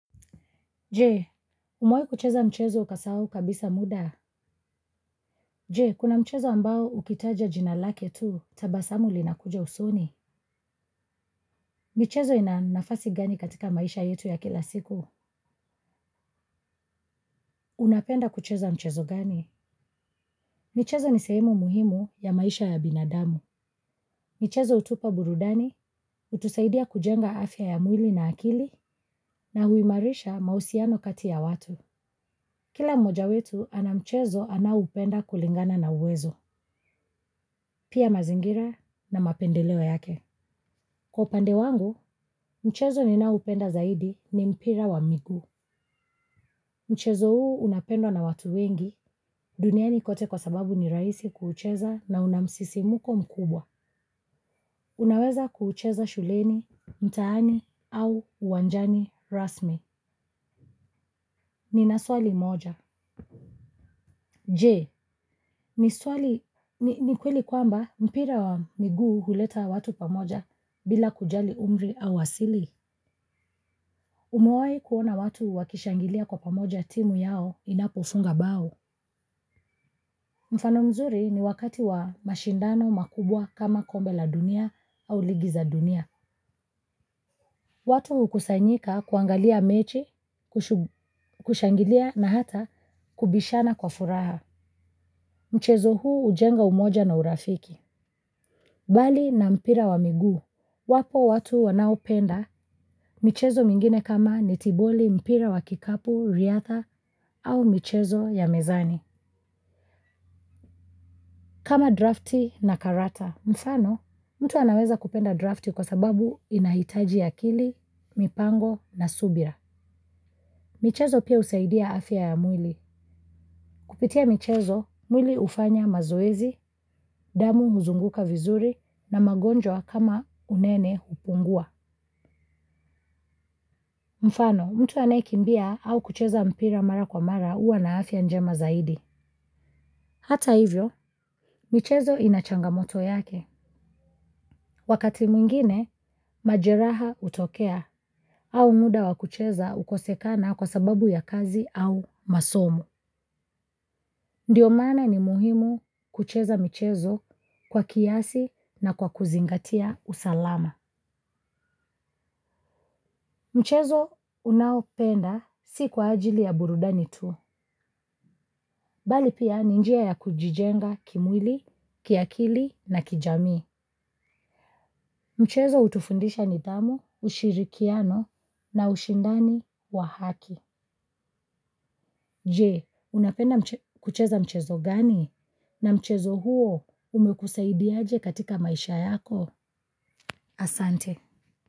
Je, umewahi kucheza mchezo ukasahau kabisa muda? Je, kuna mchezo ambao ukitaja jina lake tu, tabasamu linakuja usoni. Michezo ina nafasi gani katika maisha yetu ya kila siku? Unapenda kucheza mchezo gani? Michezo ni sehemu muhimu ya maisha ya binadamu. Michezo hutupa burudani, hutusaidia kujenga afya ya mwili na akili, na huimarisha mahusiano kati ya watu. Kila mmoja wetu, ana mchezo anaoupenda kulingana na uwezo. Pia mazingira na mapendeleo yake. Kwa upande wangu, mchezo ninaoupenda zaidi ni mpira wa miguu. Mchezo huu unapendwa na watu wengi duniani kote kwa sababu ni rahisi kuucheza na una msisimko mkubwa. Unaweza kuucheza shuleni, mtaani au uwanjani rasmi. Nina swali moja. Je, ni swali, ni kweli kwamba mpira wa miguu huleta watu pamoja bila kujali umri au asili. Umewahi kuona watu wakishangilia kwa pamoja timu yao inapofunga bao? Mfano mzuri ni wakati wa mashindano makubwa kama kombe la dunia au ligi za dunia. Watu hukusanyika kuangalia mechi, kushangilia na hata kubishana kwa furaha. Mchezo huu hujenga umoja na urafiki. Bali na mpira wa miguu, wapo watu wanaopenda michezo mingine kama netiboli, mpira wa kikapu, riadha au michezo ya mezani. Kama drafti na karata, mfano, mtu anaweza kupenda drafti kwa sababu inahitaji akili, mipango na subira. Michezo pia husaidia afya ya mwili. Kupitia michezo, mwili hufanya mazoezi, damu huzunguka vizuri na magonjwa kama unene hupungua. Mfano, mtu anayekimbia au kucheza mpira mara kwa mara huwa na afya njema zaidi. Hata hivyo, michezo ina changamoto yake. Wakati mwingine, majeraha hutokea au muda wa kucheza hukosekana kwa sababu ya kazi au masomo. Ndiyo maana ni muhimu kucheza michezo kwa kiasi na kwa kuzingatia usalama. Mchezo unaopenda si kwa ajili ya burudani tu. Bali pia ni njia ya kujijenga kimwili, kiakili na kijamii. Mchezo hutufundisha nidhamu, ushirikiano na ushindani wa haki. Je, unapenda kucheza mchezo gani? Na mchezo huo umekusaidiaje katika maisha yako? Asante.